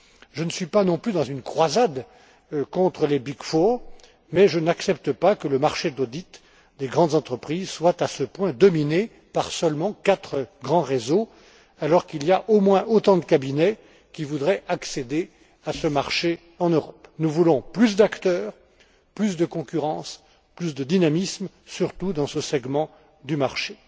Je ne suis pas non plus dans une croisade contre les Big Four, mais je n'accepte pas que le marché de l'audit des grandes entreprises soit à ce point dominé par quatre grands réseaux seulement, alors qu'il y a au moins autant de cabinets qui voudraient accéder à ce marché en Europe. Nous voulons plus d'acteurs, plus de concurrence, plus de dynamisme, surtout dans ce segment du marché.